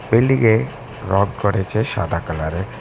বিল্ডিংএ রং করেছে সাদা কালারের।